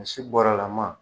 A si bɔrɛlaman